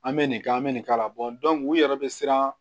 An bɛ nin k'an bɛ nin k'a la u yɛrɛ bɛ siran